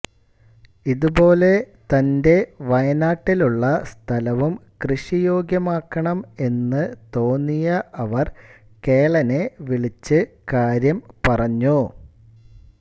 ഇതുപോലെ തൻറെ വയനാട്ടിലുള്ള സ്ഥലവും കൃഷിയോഗ്യമാക്കണം എന്ന് തോന്നിയ അവർ കേളനെ വിളിച്ചു കാര്യം പറഞ്ഞു